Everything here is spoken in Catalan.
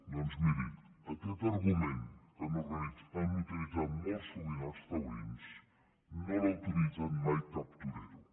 doncs miri aquest argument que han utilitzat molt sovint els taurins no l’ha utilitzat mai cap torero